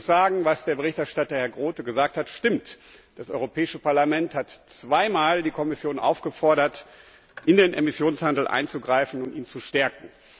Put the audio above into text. Ich muss sagen, was der Berichterstatter, Herr Groote, gesagt hat, stimmt Das Europäische Parlament hat die Kommission zweimal aufgefordert, in den Emissionshandel einzugreifen und ihn zu stärken.